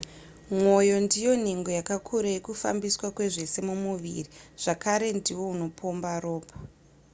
mwoyo ndiwo nhengo yakakura yekufambiswa kwezvese mumuviri zvakare ndiwo unopomba ropa